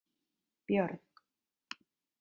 Björg